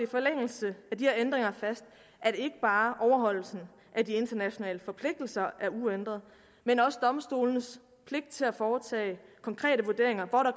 forlængelse af de her ændringer fast at ikke bare overholdelsen af de internationale forpligtelser er uændret men også domstolenes pligt til at foretage konkrete vurderinger hvor der